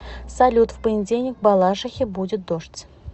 салют в понедельник в балашихе будет дождь